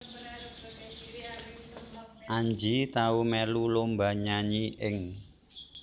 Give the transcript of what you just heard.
Anji tau melu lomba nyanyi ing